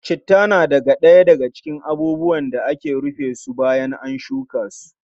Citta na daga cikin abubuwan da ake rufe su bayan shuka su.